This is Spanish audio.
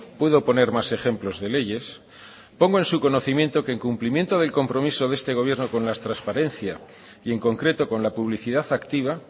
puedo poner más ejemplos de leyes pongo en su conocimiento que en cumplimiento de compromiso de este gobierno con la transparencia y en concreto con la publicidad activa